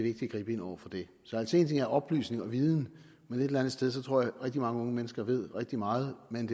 at gribe ind over for det så altså en ting er oplysning og viden men et eller andet sted tror jeg at rigtig mange unge mennesker ved rigtig meget men